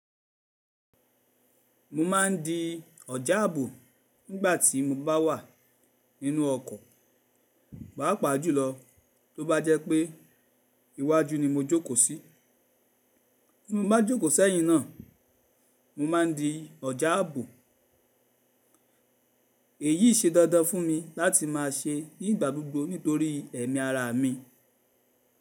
Mo ma ń di ọ̀já ààbò nígbà tí mo bá wà nínú ọkọ̀, pàápàá jùlọ tó bá jẹ́ pé iwájú ni mo jókòó sí. Bí mo bá jókòó sẹ́yìn náà, mo ma ń di ọ̀já àbò. Èyí ṣe dandan fún mi láti máa ṣe nígbà gbogbo nítorí ẹ̀mí ara mi.